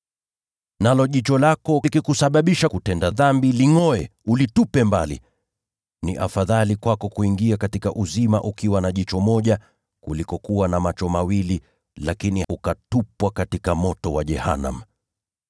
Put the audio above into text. Nalo jicho lako likikusababisha kutenda dhambi, lingʼoe, ulitupe mbali. Ni afadhali kwako kuingia katika uzima ukiwa na jicho moja, kuliko kuwa na macho mawili lakini ukatupwa katika moto wa jehanamu.